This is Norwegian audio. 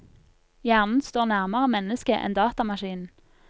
Hjernen står nærmere mennesket enn datamaskinen.